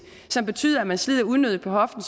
som betyder at man slider unødigt på hoften